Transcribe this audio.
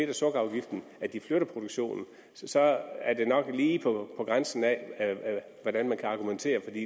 og sukkerafgiften at de flytter produktionen så er det nok lige på grænsen af hvordan man kan argumentere for de